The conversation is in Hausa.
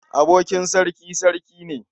Abokin sarki, sarki ne.